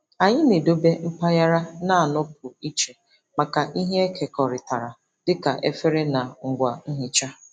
Anyị na-edobe mpaghara na-anọpụ iche maka ihe ekekọrịtara dịka efere na ngwa nhicha.